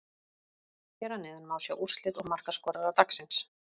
Hér að neðan má sjá úrslit og markaskorara dagsins: